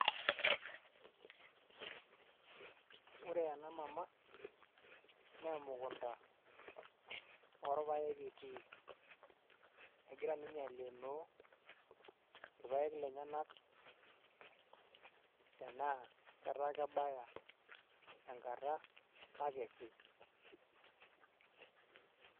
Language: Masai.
Ore ena mama naa emukunda orpaek etii, egira ninye aaleenoo irapaek lenyenak tenaa ketaa kebaya enkata nakesi.